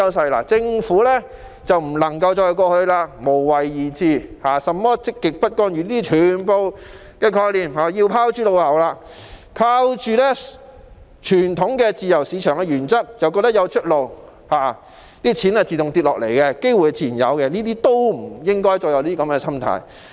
特區政府不能再抱着無為而治或積極不干預的思維，全部這樣的概念也要拋諸腦後；也不能依靠傳統自由市場原則就覺得有出路，錢會自動掉下來、機會自然有，不應該再有這樣的心態。